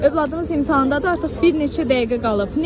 Övladınız imtahandadır, artıq bir neçə dəqiqə qalıb.